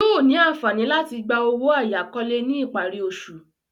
Yóò ní àǹfààní láti gba owó àyákọ́lé ní ìparí oṣù.